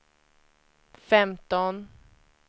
femton